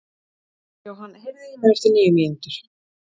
Johan, heyrðu í mér eftir níu mínútur.